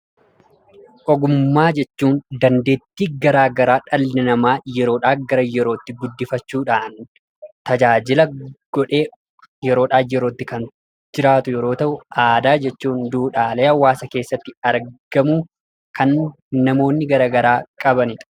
Ogummaa jechuun dandeettii gara garaa dhalli namaa yeroodhaa gara yerootti guddifachuudhaan tajaajila godhee yeroodhaa gara yerootti kan jiraatu yoo ta’u, aadaa jechuun immoo duudhaalee hawwaasa keessatti argamu kan namoonni gara garaa qabanidha.